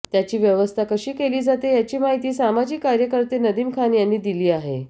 त्याची व्यवस्था कशी केली जाते याची माहिती सामाजिक कार्यकर्ते नदीम खान यांनी दिली आहे